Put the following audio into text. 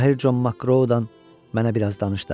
Mahir Con Makrodan mənə biraz danış da.